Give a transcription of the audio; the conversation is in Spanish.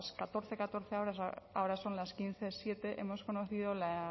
catorce catorce horas ahora son las quince siete hemos conocido la